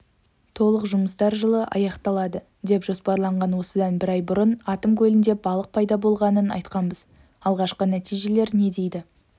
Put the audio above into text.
толық жұмыстар жылы аяқталады деп жоспарланған осыдан бір ай бұрын атом көлінде балық пайда болғанын айтқанбыз алғашқы нәтижелер не дейді